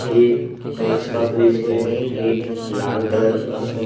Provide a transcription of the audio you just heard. एक कांच का फ्रिज है एक लाल कलर का हैं।